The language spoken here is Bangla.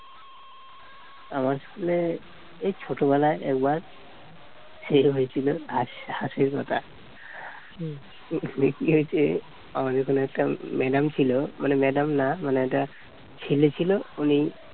আমার school এর এই ছোটবেলায় একবার খেল হয়েছিল আর সেই কথা school এ কি হয়েছে আমাদের ওখানে একটা madam ছিল মানে madam না মানে একটা ছেলে ছিল উনি